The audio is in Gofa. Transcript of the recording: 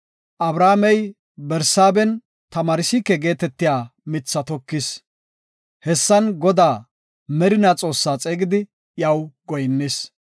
Abrahaamey Barsaaben tamarsiik geetetiya mithi tokis. Hessan Godaa, Merina Xoossa xeegidi iyaw goyinnis.